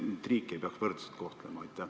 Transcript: Kas riike ei peaks võrdselt kohtlema?